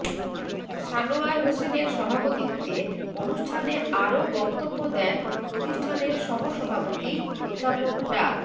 সানোয়ার হোসেনের সভাপতিত্বে অনুষ্ঠানে আরো বক্তব্য দেন প্রতিষ্ঠানের সহসভাপতি অধ্যাপক ডা